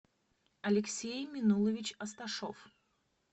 алексей минулович асташов